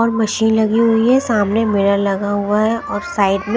और मशीन लगी हुई है सामने मेला लगा हुआ है और साइड में--